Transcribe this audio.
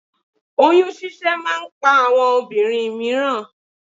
Oyún ṣíṣẹ́ máa ń pa àwọn obìnrin mìíràn